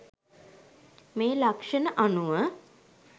මේ ලක්‍ෂණ අනුව